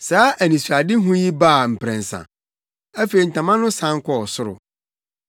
Saa anisoadehu yi baa mprɛnsa. Afei ntama no san kɔɔ ɔsoro.